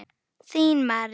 Þín Marín.